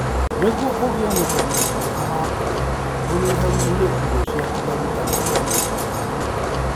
Nĩguo ũgĩe na ũgima mwega wa ngoro, ũnyihanyihĩrie irio ciaku maguta ma nyamũ.